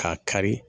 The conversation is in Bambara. K'a kari